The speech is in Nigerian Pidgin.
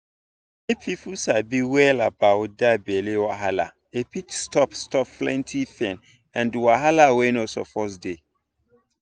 if people sabi well about that belly wahala e fit stop stop plenty pain and wahala wey no suppose dey.